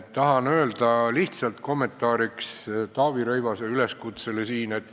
Tahan öelda lihtsalt ühe kommentaari Taavi Rõivase üleskutse kohta.